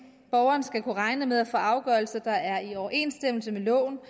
borgeren skal kunne regne med at få afgørelser der er i overensstemmelse med loven og